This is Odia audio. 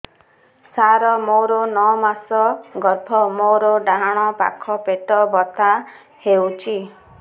ସାର ମୋର ନଅ ମାସ ଗର୍ଭ ମୋର ଡାହାଣ ପାଖ ପେଟ ବଥା ହେଉଛି